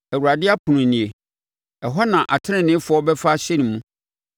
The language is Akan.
Awurade ɛpono nie; ɛhɔ na ateneneefoɔ bɛfa ahyɛne mu.